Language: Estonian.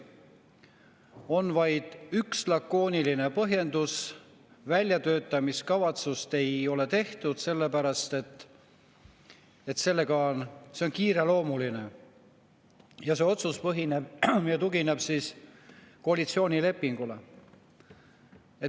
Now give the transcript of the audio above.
On vaid üks lakooniline põhjendus: väljatöötamiskavatsust ei ole tehtud sellepärast, et see on kiireloomuline asi, ja see otsus tugineb koalitsioonilepingule.